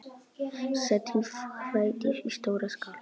Setjið hveitið í stóra skál.